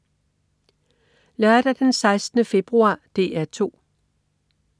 Lørdag den 16. februar - DR 2: